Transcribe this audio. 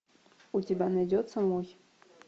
у тебя найдется мой